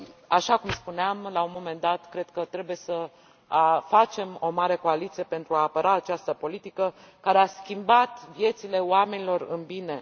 Așa cum spuneam la un moment dat, cred că trebuie să facem o mare coaliție pentru a apăra această politică, care a schimbat viețile oamenilor în bine.